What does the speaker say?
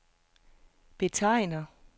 betegner